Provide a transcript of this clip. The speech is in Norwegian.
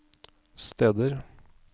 steder